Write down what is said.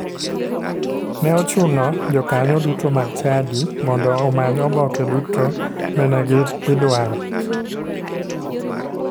Ne ochuno jokanyo duto mag chadi mondo omany oboke duto mene idwaro.